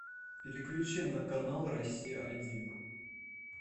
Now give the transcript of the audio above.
переключи на канал россия один